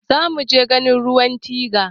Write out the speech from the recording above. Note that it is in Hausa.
Zamuje ganin ruwan tiga